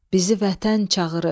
Bizi vətən çağırır.